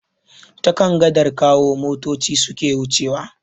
Ta kan gadar Kawo motoci suke wucewa.